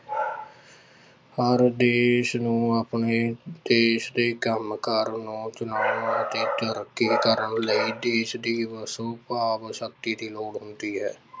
ਭਾਰਤ ਦੇਸ ਨੂੰ ਆਪਣੇ ਦੇਸ ਦੇ ਕੰਮਕਾਰ ਨੂੰ ਤਰੱਕੀ ਕਰਨ ਲਈ ਦੇਸ ਦੀ ਵਸੋਂ ਭਾਵ ਸ਼ਕਤੀ ਦੀ ਲੋੜ ਹੁੰਦੀ ਹੈ।